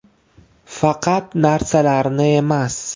Faqat narsalarni emas.